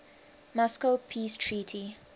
moscow peace treaty